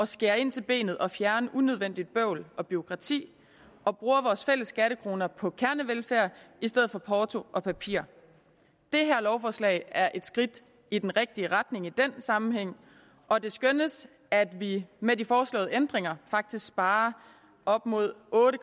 skære ind til benet og fjerner unødvendigt bøvl og bureaukrati og bruger vores fælles skattekroner på kernevelfærd i stedet for porto og papir det her lovforslag er et skridt i den rigtige retning i den sammenhæng og det skønnes at vi med de foreslåede ændringer faktisk sparer op imod otte